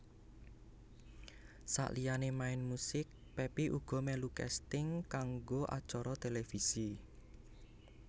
Saliyané main musik Pepi uga melu casting kanggo acara televisi